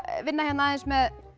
vinna hér aðeins með